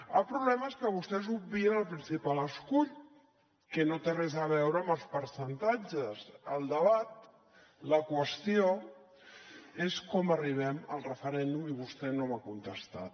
el problema és que vostès obvien el principal escull que no té res a veure amb els percentatges el debat la qüestió és com arribem al referèndum i vostè no m’ha contestat